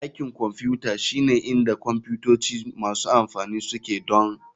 Dakin Kwamfuta shine inda kwamfutoci masu amfani suke donr.